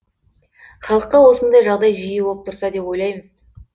халыққа осындай жағдай жиі болып тұрса деп ойлаймыз